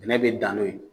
Bɛnɛ bɛ dan n'o ye